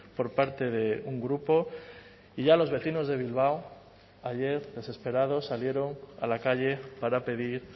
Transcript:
por parte de un grupo y ya los vecinos de bilbao ayer desesperados salieron a la calle para pedir